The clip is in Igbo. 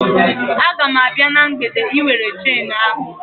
A ga m abịa na mgbede Ị were chenu ahụ